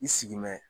I sigi mɛ